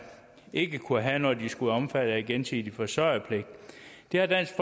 ikke kunne have når de skulle være omfattet af gensidig forsørgerpligt det har dansk